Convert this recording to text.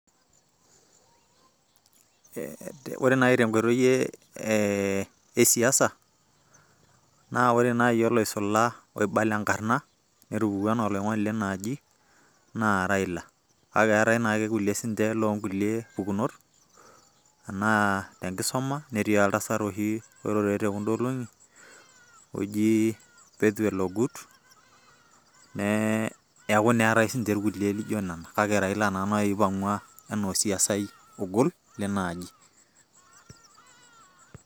ore naaji tenkoitoi esiasa, ore naaji oloisula, oibala enkarna, otupukuo anaa oloingoni leina aji, naa raila, kake eetae naa sii ninche kulie loo kulie pukunot, anaa te nkisuma ,netii oltasat apa oirure te kuda olong'i oji bethel ogut, neeku eetae naa kulie naijo nena, kake raila naa oipangua anaa olong leina aji.